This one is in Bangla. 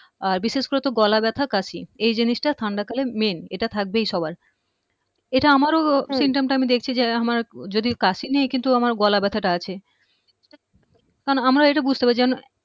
আহ বিশেষ করে তো গলা ব্যথা কাশি এই জিনিসটা ঠান্ডা কালে main এটা থাকবেই সবার এটা আমারও উহ symptom টা আমি দেখছি যে আমার যদি কাশি নেই তো আমার গলা ব্যথাটা আছে কারন আমার এটা বুঝতে হবে